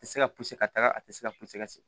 A tɛ se ka puse ka taga a tɛ se ka puse ka se